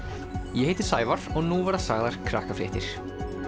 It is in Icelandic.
ég heiti Sævar og nú verða sagðar Krakkafréttir